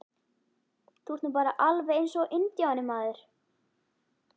Þú ert nú bara alveg eins og INDJÁNI, maður!